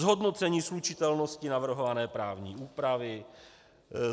Zhodnocení slučitelnosti navrhované právní úpravy.